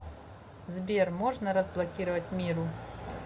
сбер можно разблокировать миру